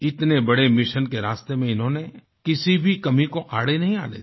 इतने बड़े मिशन के रास्ते में इन्होंने किसी भी कमी को आड़े नहीं आने दिया